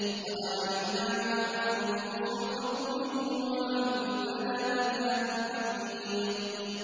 قَدْ عَلِمْنَا مَا تَنقُصُ الْأَرْضُ مِنْهُمْ ۖ وَعِندَنَا كِتَابٌ حَفِيظٌ